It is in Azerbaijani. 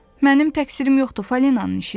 Mənim təqsirim yoxdur, Falinanın işidir.